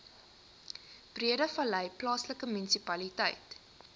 breedevallei plaaslike munisipaliteit